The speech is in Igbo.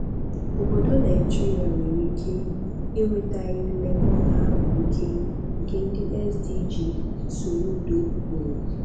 "Obodo Naijiria nwere ike enwetaghị nlekọta ahụ ike nke ndị SDG", Soludo kwuru.